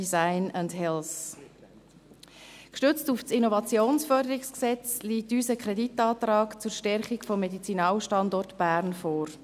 Gestützt auf das Innovationsförderungsgesetz (IFG) liegt uns ein Kreditantrag zur Stärkung des Medizinalstandorts Bern vor.